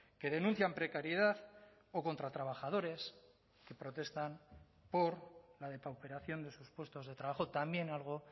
que denuncian precariedad o contra trabajadores que protestan por la depauperación de sus puestos de trabajo también algo